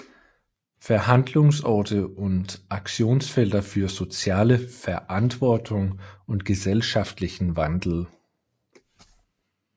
Verhandlungsorte und Aktionsfelder für soziale Verantwortung und gesellschaftlichen Wandel